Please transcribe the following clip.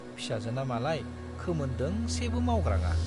फिसाजोना मालाय खोमोन दोंसेबो मावग्राङा।